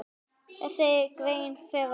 Þessari grein ber að fagna.